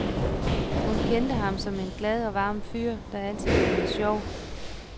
Hun kendte ham som en glad og varm fyr, der altid lavede sjov.